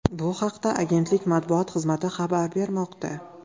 Bu haqda Agentlik matbuot xizmati xabar bermoqda .